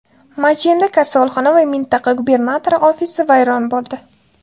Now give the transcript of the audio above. Majenda kasalxona va mintaqa gubernatori ofisi vayron bo‘ldi.